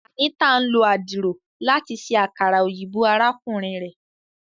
Anita n lo adiro lati ṣe akara oyinbo arakunrin rẹ.